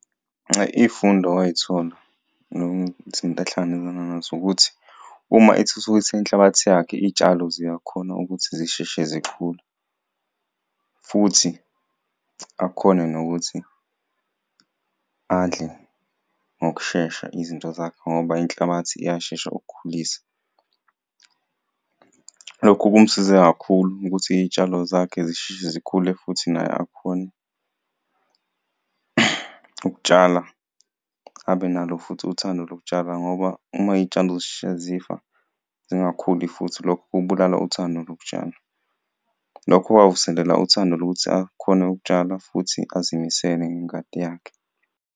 Iyifundo owayithola izinto ahlangabezana nazo ukuthi uma ethuthukisa inhlabathi yakhe, itshalo ziyakhona ukuthi zisheshe zikhule futhi akhone nokuthi adle ngokushesha izinto zakhe ngoba inhlabathi iyashesha ukukhulisa. Lokhu kumsize kakhulu ukuthi iyitshalo zakhe zisheshe zikhule futhi naye akhone ukutshala, abe nalo futhi uthando lokutshala ngoba uma iyitshalo zisheshe zifa zingakhuli futhi lokho kubulala uthando lokutshala. Lokho kwavuselela uthando lokuthi akhone ukutshala futhi azimisele ngengadi yakhe.